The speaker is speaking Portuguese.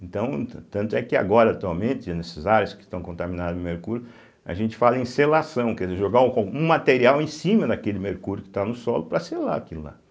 Então, tan tanto é que agora atualmente, nessas áreas que estão contaminadas com mercúrio, a gente fala em selação, quer dizer, jogar o co um material em cima naquele mercúrio que está no solo para selar aquilo lá.